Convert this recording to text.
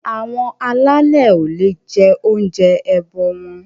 Àwọn alálè o le jẹ oúnjẹ ẹbọ wọn.